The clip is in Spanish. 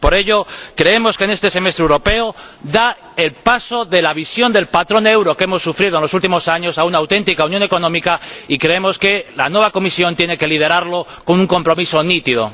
Por ello, creemos que este Semestre Europeo da el paso de la visión del patrón euro que hemos sufrido en los últimos años a una auténtica Unión económica, y creemos que la nueva Comisión tiene que liderarlo con un compromiso nítido.